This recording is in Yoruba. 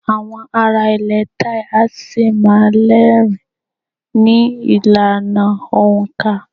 Àwọn ará ilẹ̀ Thai a ṣì má́a rẹ́rìn-ín ní ìlànà òǹkà.